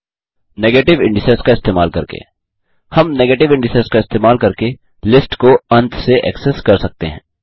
negative indices का इस्तेमाल करके हम नेगेटिव इन्डिसेस का इस्तेमाल करके लिस्ट को अंत से एक्सेस कर सकते हैं